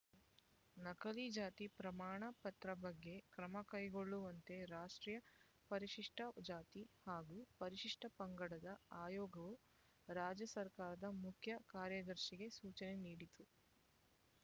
ನಕಲಿ ಜಾತಿ ಪ್ರಮಾಣ ಪತ್ರ ಬಗ್ಗೆ ಕ್ರಮ ಕೈಗೊಳ್ಳುವಂತೆ ರಾಷ್ಟ್ರೀಯ ಪರಿಶಿಷ್ಟ ಜಾತಿ ಹಾಗೂ ಪರಿಶಿಷ್ಟ ಪಂಗಡದ ಆಯೋಗವು ರಾಜ್ಯ ಸರ್ಕಾರದ ಮುಖ್ಯ ಕಾರ್ಯದರ್ಶಿಗೆ ಸೂಚನೆ ನೀಡಿತ್ತು